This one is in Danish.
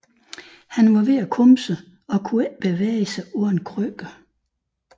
Han var ved at komme sig og kunne ikke bevæge sig uden krykker